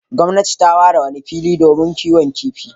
Gwamnati ta ware wani fili domin kiwon kifi.